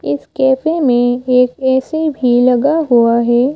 इस कैफे में एक ए_सी भी लगा हुआ है।